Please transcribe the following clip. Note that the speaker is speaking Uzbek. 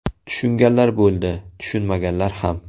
Tushunganlar bo‘ldi, tushunmaganlar ham.